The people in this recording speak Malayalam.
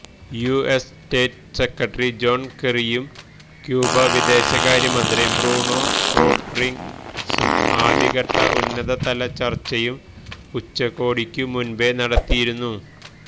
യുഎസ് സ്റ്റേറ്റ് സെക്രട്ടറി ജോണ് കെറിയും ക്യൂബ വിദേശകാര്യമന്ത്രി ബ്രൂണോ റോഡ്റിഗസും ആദ്യവട്ട ഉന്നതതല ചര്ച്ചയും ഉച്ചകോടിക്കു മുന്പേ നടത്തിയിരുന്നു